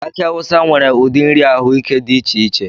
Aki awusa nwere ụdị nri ahụike dị iche iche